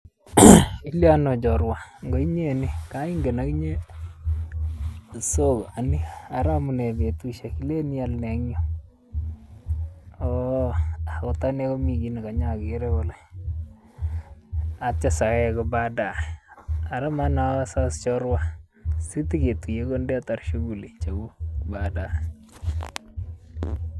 Iliyon oo chorwa ko inye nii, ngaa ingen akinye sokani, ara iamunee betusiek, ilen ial nee eng nyuu, ooh akot anee kami chi nekapokeere eng nyuu atyo sawek badae. Ara manasos chorwa siteketuye koi ndetar shughuli chekuk badae.